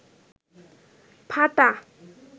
ফাটা